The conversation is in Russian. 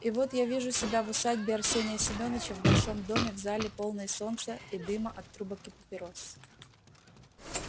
и вот я вижу себя в усадьбе арсения семёныча в большом доме в зале полной солнца и дыма от трубок и папирос